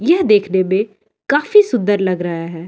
ये देखने मे काफी सुंदर लग रहा हैं।